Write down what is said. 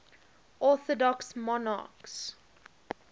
orthodox monarchs